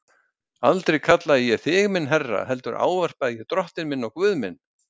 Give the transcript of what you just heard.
Aldrei kallaði ég þig minn herra heldur ávarpaði ég drottinn minn og Guð minn.